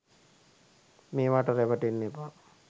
මේවාට රැවටෙන්න එපා